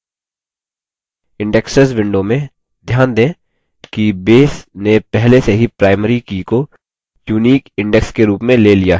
indexes window में ध्यान दें कि base ने पहले से ही primary की को unique index के रूप में ले लिया है